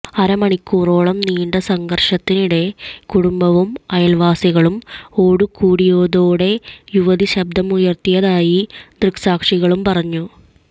അരമണിക്കൂറോളം നീണ്ട സംഘര്ഷത്തിനിടെ കുടുംബവും അയല്വാസികളും ഓടിക്കൂടിയതോടെ യുവതി ശബ്ദമുയര്ത്തിയതായി ദൃക്സാക്ഷികള് പറഞ്ഞു